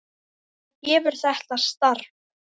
Hvað gefur þetta starf?